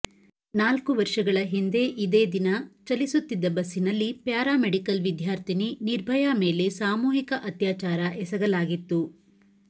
ನಾಲ್ಕು ವರ್ಷಗಳ ಹಿಂದೆ ಇದೇ ದಿನ ಚಲಿಸುತ್ತಿದ್ದ ಬಸ್ಸಿನಲ್ಲಿ ಪ್ಯಾರಾ ಮೆಡಿಕಲ್ ವಿದ್ಯಾರ್ಥಿನಿ ನಿರ್ಭಯಾ ಮೇಲೆ ಸಾಮೂಹಿಕ ಅತ್ಯಾಚಾರ ಎಸಗಲಾಗಿತ್ತು